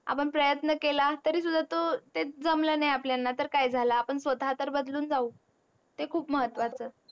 आपण प्रयत्न केला तरी सुद्धा तो ते जमल नाही आपल्याणा तर काय झाला आपण स्वता तर बदलून जाऊ ते खूप महत्वाच आहे.